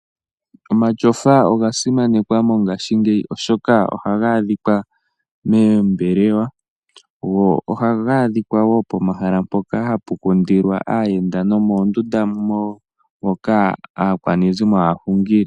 Omatyofa oga simanekwa mongashingeyi oshoka Ohaga adhika moombelewa, go ohaga adhika wo pomahala mpoka hapu kundilwa aayenda nomoondunda moka aakwanezimo haya hungile.